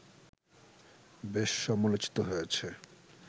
বেশ সমালোচিত হয়েছে